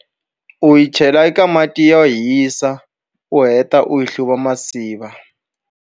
U yi chela eka mati yo hisa, u heta u yi hluva tinsiva.